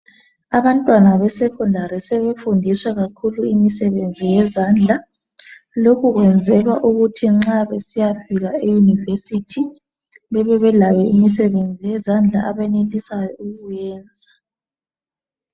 Abantwana be secondary sebefundiswa kakhulu imisebenzi yezandla lokhu kwenzelwa ukuthi nxa besiyafika emakolitshini bebelayo imisebenzi yezandla abenelisayo ukuyenza.